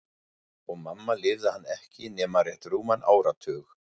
Og mamma lifði hann ekki nema rétt rúman áratug.